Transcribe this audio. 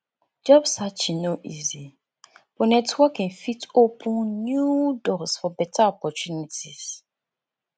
job searching no easy but networking fit open new doors for beta opportunities